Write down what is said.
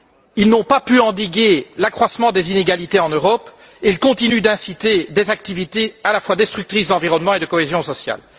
Ils n'ont pas pu endiguer l'accroissement des inégalités en Europe et ils continuent d'inciter des activités destructrices à la fois de l'environnement et de la cohésion sociale.